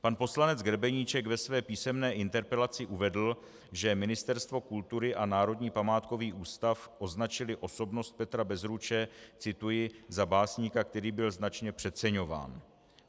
Pan poslanec Grebeníček ve své písemné interpelaci uvedl, že Ministerstvo kultury a Národní památkový ústav označily osobnost Petra Bezruče - cituji - za básníka, který byl značně přeceňován.